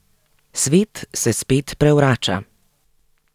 Svet se spet prevrača.